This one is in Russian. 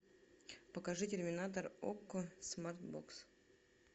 покажи терминатор окко смарт бокс